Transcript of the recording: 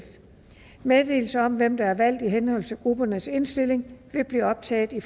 meddelelse om hvem der er valgt i henhold til gruppernes indstilling vil blive optaget i